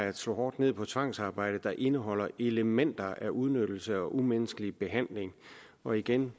at slå hårdt ned på tvangsarbejde der indeholder elementer af udnyttelse og umenneskelig behandling og igen